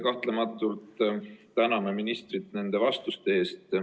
Kahtlematult täname ministrit nende vastuste eest.